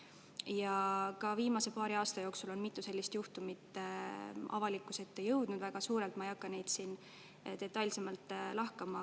Ja ka viimase paari aasta jooksul on mitu sellist juhtumit avalikkuse ette jõudnud väga suurelt, ma ei hakka neid siin detailsemalt lahkama.